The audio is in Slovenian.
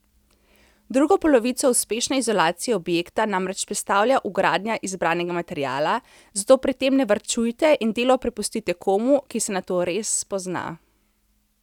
Drugo polovico uspešne izolacije objekta namreč predstavlja vgradnja izbranega materiala, zato pri tem ne varčujte in delo prepustite komu, ki se na to res spozna.